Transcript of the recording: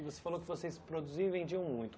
E você falou que vocês produziam e vendiam muito.